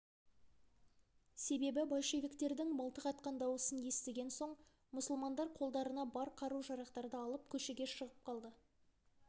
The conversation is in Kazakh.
себебі большевиктердің мылтық атқан дауысын естіген соң мұсылмандар қолдарына бар қару-жарақтарды алып көшеге шығып қалды